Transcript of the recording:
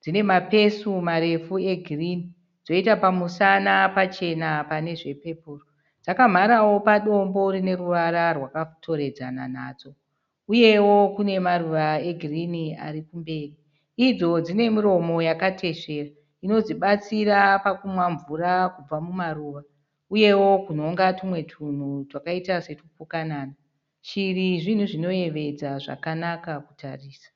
Dzinemapesu marefu egirinhi, dzoita pamusana pachena panezvepepuru ,dzakamharawo padombo rineruvara rwakatoredzana nadzo, uyewo kunemaruva egirinhi arikumberi. Idzo dzinemuromo yakateswera inidzibatsira kunwa mvura kubva mumaruva, uyewo kunhonga tunhu twakaita setupukanana. Shiri zvinhu zvinoyevedza zvakanaka kutarisa.